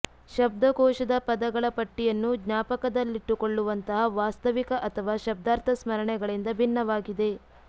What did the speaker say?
ಶಬ್ದಕೋಶದ ಪದಗಳ ಪಟ್ಟಿಯನ್ನು ಜ್ಞಾಪಕದಲ್ಲಿಟ್ಟುಕೊಳ್ಳುವಂತಹ ವಾಸ್ತವಿಕ ಅಥವಾ ಶಬ್ದಾರ್ಥ ಸ್ಮರಣೆಗಳಿಂದ ಭಿನ್ನವಾಗಿದೆ